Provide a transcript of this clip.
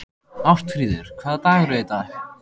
Ástfríður, hvaða dagur er í dag?